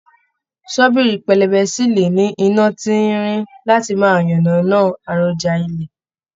Ṣọ́bìrì pẹlẹbẹ sí lè ní iná tín-ín-rín láti máa yànnànán an èròjà ilẹ̀.